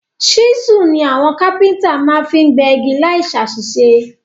Ṣísù ni àwon Kápẹ́ńtà ma fi n gbẹ́ igi láì sàsísé